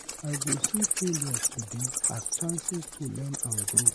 I go see failures today as chances to learn and grow.